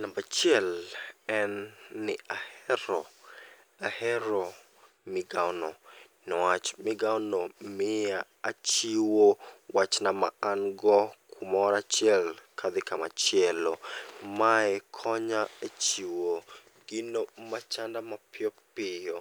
Nambachiel en ni ahero, ahero migawo no. Niwach migawo no miya achiwo wachna ma an go kumorachiel kadhi kamachielo. Mae konya e chiwo gino machanda mapiyopiyo,